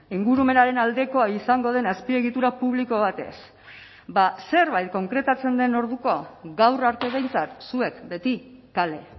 ingurumenaren aldekoa izango den azpiegitura publiko batez zerbait konkretatzen den orduko gaur arte behintzat zuek beti kale